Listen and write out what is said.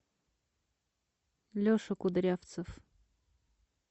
леша кудрявцев